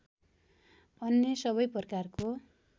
अन्य सबै प्रकारको